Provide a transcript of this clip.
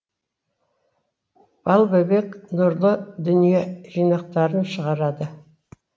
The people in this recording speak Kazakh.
балбөбек нұрлы дүние жинақтарын шығарады